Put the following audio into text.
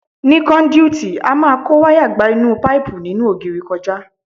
Ní kọ́ndúìtì, a máa kó wayà gba inú páìpù nínú ògiri kọjá.